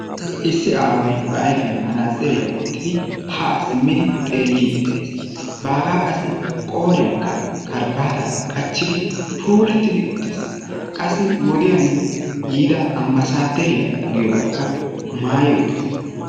issi awaay ba ayfiyaan manatsiriyaa woottidi haa siimmidi bagaa qassi qooriyaan karbbaataa qaachidi puullatiddi uttiis. qassi wodiyaan yiida ambbasaderiyaa giyoogaakka maayi uttiis.